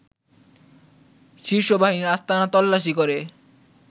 শীর্ষ বাহিনীর আস্তানা তল্লাশি করে